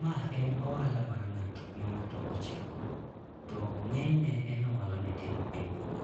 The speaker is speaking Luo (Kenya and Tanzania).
Ma en ohala mar ng'ato ma ng'ato ochako, to ng'eny ne en ohala mitimo e boma.